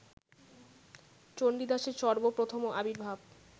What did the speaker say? চণ্ডীদাসের সর্ব্ব-প্রথম আবির্ভাব